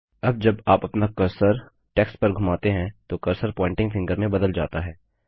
अब जब आप अपना कर्सर टेक्स्ट पर घुमाते हैं तो कर्सर प्वॉइंटिंग फिंगर में बदल जाता है